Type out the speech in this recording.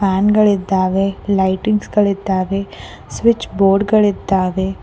Fan ಗಳಿದ್ದಾವೆ lightings ಗಳಿದ್ದಾವೆ switch board ಗಳಿದ್ದಾವೆ.